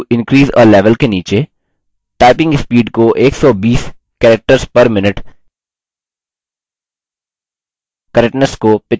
typing speed को 120 characters per minute correctness को 85%